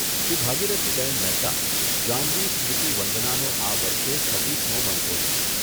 શ્રી ભાગીરથી બહેન મહેતા, જાહ્નવી સ્મૃતિ વંદનાનો આ વર્ષે છવ્વીસમો મણકો છે.